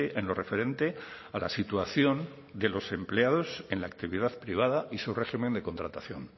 en lo referente a la situación de los empleados en la actividad privada y su régimen de contratación